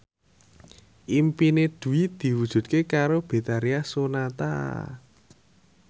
impine Dwi diwujudke karo Betharia Sonata